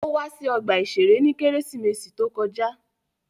Ó wá sí ọgbà-ìṣeré ní Kérésìmesì to kọjá